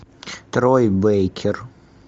трой бейкер